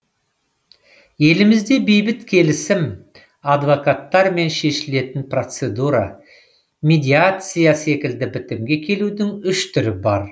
елімізде бейбіт келісім адвокаттармен шешілетін процедура медиация секілді бітімге келудің үш түрі бар